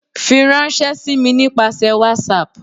firanṣẹ si mi nipasẹ whatsapp!